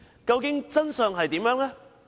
究竟真相為何？